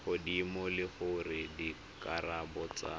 godimo le gore dikarabo tsa